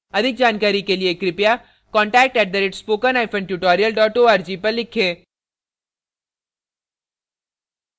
अधिक जानकारी के लिए कृपया contact @spokentutorial org पर लिखें